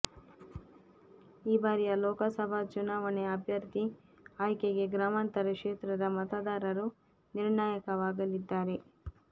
ಈ ಬಾರಿಯ ಲೋಕ ಸಭಾ ಚುನಾವಣೆ ಅಭ್ಯರ್ಥಿ ಆಯ್ಕೆಗೆ ಗ್ರಾಮಾಂತರ ಕ್ಷೇತ್ರದ ಮತದಾರರು ನಿರ್ಣಾಯಕವಾಗಲಿದ್ದಾರೆ